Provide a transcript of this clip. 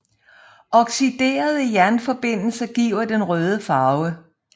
Oxiderede jernforbindelser giver den røde farve